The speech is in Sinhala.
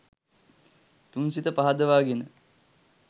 තුන් සිත පහදවා ගෙන